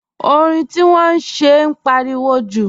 Orin tí wọ́n ń ṣe ń pariwo jù